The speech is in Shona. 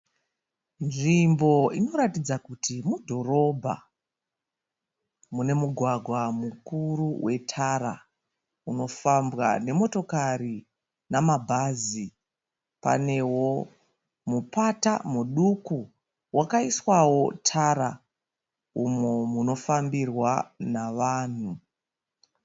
Nzvimbo inoratidza kuti mudhorobha. Mune mugwagwa mukuru wetara. Unofambwa nemotokari nemabhazi. Panewo mupata muduku, wakaiswawo tara umo muno munofambirwa nevanhu.